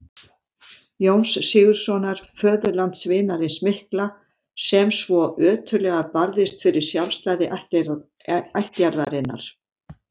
Jóns Sigurðssonar, föðurlandsvinarins mikla, sem svo ötullega barðist fyrir sjálfstæði ættjarðarinnar.